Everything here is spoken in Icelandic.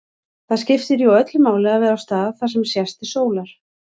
Það skiptir jú öllu máli að vera á stað þar sem sést til sólar.